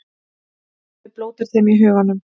Hemmi blótar þeim í huganum.